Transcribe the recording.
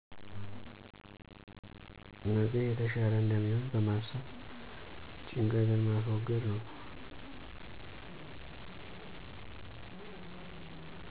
ነገ የተሻለ እንደሚሆን በማሰብ ጭንቀትን ማስወገድ ነው።